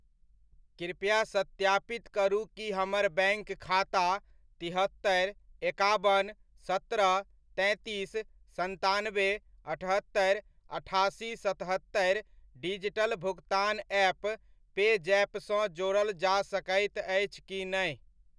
कृपया सत्यापित करु कि हमर बैङ्क खाता तिहत्तरि, एकाबन, सत्रह, तैंतीस, सन्तानबे, अठहत्तरिअठासी सतहत्तरि डिजिटल भुगतान ऐप पेजैप सँ जोड़ल जा सकैत अछि की नहि ?